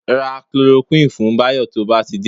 Ra Chloroquine fún Báyọ̀ tó bá ti dé